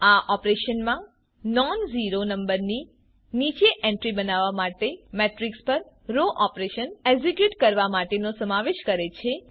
આ ઓપરેશનમાં નોનઝીરો નંબરની નીચે એન્ટ્રી બનાવવા માટે મેટ્રીક્સ પર રો ઓપરેશન એક્ઝીક્યુટ કરવા માટેનો સમાવેશ કરે છે